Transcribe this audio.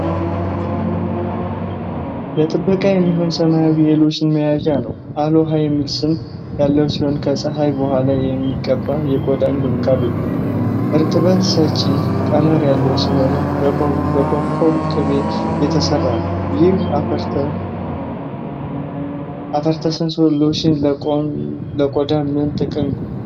ለጥበቃ የሚሆን ሰማያዊ የሎሽን መያዣ ነው። 'አሎሀ' የሚል ስም ያለው ሲሆን ከጸሀይ በኋላ የሚቀባ የቆዳ እንክብካቤ ነው። እርጥበት ሰጪ ቀመር ያለው ሲሆን በኮኮዋ ቅቤ የተሰራ ነው። ይህ 'አፍተርሰን ሎሽን' ለቆዳ ምን ጥቅም ይሰጣል?